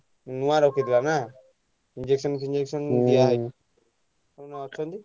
ନୂଆ ରଖିଥିଲା ନା injection ଫିଞ୍ଜେକସନ ନୂଆ ନୂଆ ଅଛନ୍ତି।